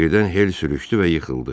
Birdən Hel sürüşdü və yıxıldı.